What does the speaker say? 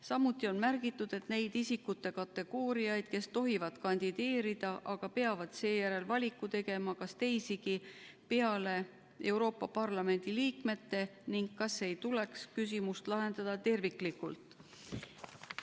Samuti on märgitud, et neid isikute kategooriaid, kes tohivad kandideerida, aga peavad seejärel valiku tegema, on teisigi peale Euroopa Parlamendi liikmete ning kas ei tuleks küsimust lahendada terviklikult.